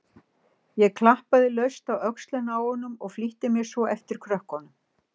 Ég klappaði laust á öxlina á honum og flýtti mér svo á eftir krökkunum.